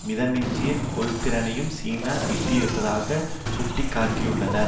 மிதமிஞ்சிய கொள்திறனையும் சீனா எட்டியிருப்பதாக சுட்டி காட்டியுள்ளனர்